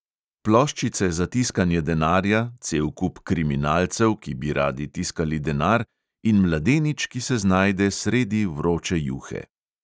Ploščice za tiskanje denarja, cel kup kriminalcev, ki bi radi tiskali denar, in mladenič, ki se znajde sredi vroče juhe.